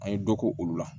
An ye dɔ k'olu la